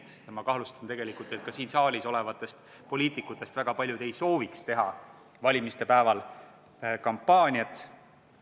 Ja tegelikult ma kahtlustan, et väga paljud siin saaliski olevatest poliitikutest ei sooviks valimispäeval kampaaniat teha.